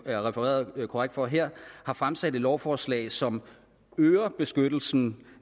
er refereret korrekt for her har fremsat et lovforslag som øger beskyttelsen